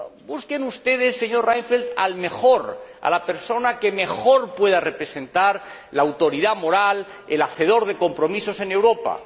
Busquen ustedes, señor Reinfeldt, al mejor, a la persona que mejor pueda representar la autoridad moral, al hacedor de compromisos en Europa.